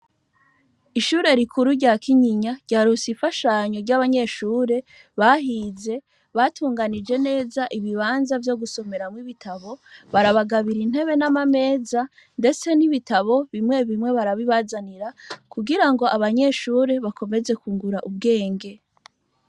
Ishure rikuru rya Kinyinya ryaronse imfashanyo ry'abanyeshure bahize, batunganyije neza ibibanza vyo gusomeramwo ibitabo, barabagabira intebe n'amameza, ndetese n'ibitabo bimwe bimwe barabibazanira kugira ngo abanyeshure bakomeze kwungura ubwenge.